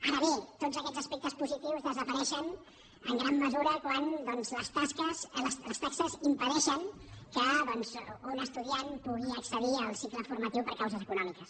ara bé tots aquests aspectes positius desapareixen en gran mesura quan doncs les taxes impedeixen que un estudiant pugui accedir als cicles formatius per causes econòmiques